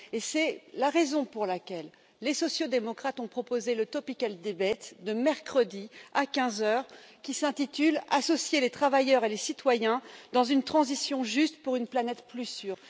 C'est la raison pour laquelle les sociaux démocrates ont proposé le débat d'actualité de mercredi à 15 heures, qui s'intitule Associer les travailleurs et les citoyens dans une transition juste pour une planète plus sûre.